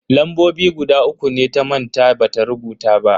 Lambobi guda uku ne ta manta bata rubuta ba.